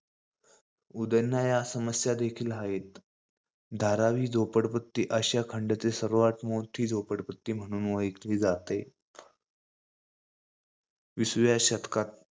उद्वणाया या समस्या देखील हायेत. धारावी ही झोपडपट्टी आशिया खंडातील सर्वात मोठी झोपडपट्टी म्हणुन ओळखली जाते. विसव्या शतकात भारतात,